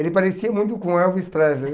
Ele parecia muito com o Elvis Presley.